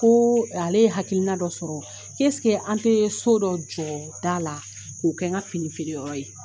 Ko ale ye hakilikiina dɔ sɔrɔ, an tɛ so dɔ jɔ da la k'o kɛ n ka fini feereyɔrɔ ye.